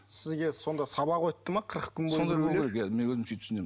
сізге сонда сабақ өтті ме қырық күн мен өзім сөйтіп түсінемін